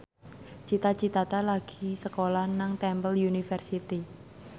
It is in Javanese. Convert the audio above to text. Cita Citata lagi sekolah nang Temple University